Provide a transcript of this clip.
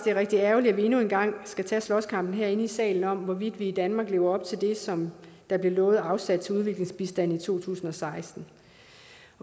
er rigtig ærgerligt at vi endnu en gang skal tage slåskampen herinde i salen om hvorvidt vi i danmark lever op til det som der blev lovet afsat til udviklingsbistand i to tusind og seksten